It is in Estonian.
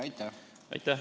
Aitäh!